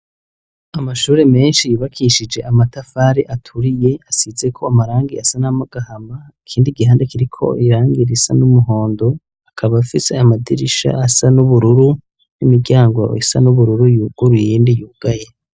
Amashure menshi yubakishije amatafari aturiye, asizeko amarangi asa n'agahama, ikindi gihande kiriko irangi risa n'umuhondo, akaba afise amadirisha asa n'ubururu n'imiryango isa n'ubururu yuguruye, iyindi yugaye.